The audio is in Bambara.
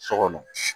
So kɔnɔ